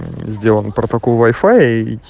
сделано протокол вайфая и